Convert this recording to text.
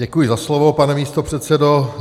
Děkuji za slovo, pane místopředsedo.